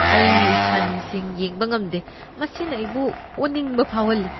ꯑꯩ ꯍꯟꯁꯤꯡ ꯌꯦꯡꯕ ꯉꯝꯗꯦ, ꯃꯁꯤꯅ ꯑꯩꯕꯨ ꯑꯣꯅꯤꯡꯕ ꯐꯥꯎꯍꯜꯂꯤ꯫